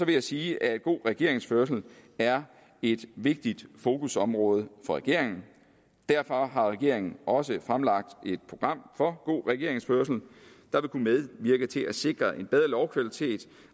jeg sige at god regeringsførelse er et vigtigt fokusområde for regeringen derfor har regeringen også fremlagt et program for god regeringsførelse der vil kunne medvirke til at sikre en bedre lovkvalitet